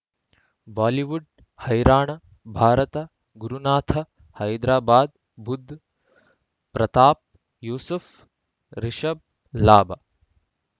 Bollywood ಹೈರಾಣ ಭಾರತ ಗುರುನಾಥ ಹೈದರಾಬಾದ್ ಬುಧ್ ಪ್ರತಾಪ್ ಯೂಸುಫ್ ರಿಷಬ್ ಲಾಭ